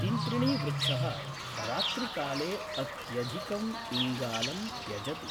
तिन्त्रिणीवृक्षः रात्रिकाले अत्यधिकम् इङ्गालं त्यजति